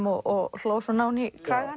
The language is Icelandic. og hló svona ofan í kragann